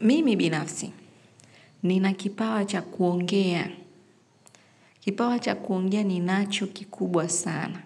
Mimi binafsi, ninakipawa cha kuongea. Kipawa cha kuongea ni nacho kikubwa sana.